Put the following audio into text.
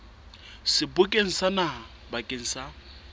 sebokeng sa naha bakeng sa